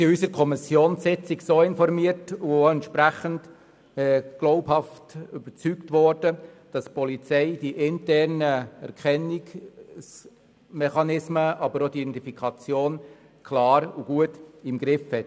In der Kommissionssitzung wurden wir informiert und entsprechend glaubhaft überzeugt, dass die Polizei die internen Erkennungsmechanismen, aber auch die Identifikation klar und gut im Griff hat.